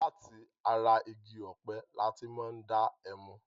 Láti ara igi ọ̀pẹ lati máa ń dá ẹmu.